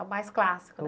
A mais clássico, né?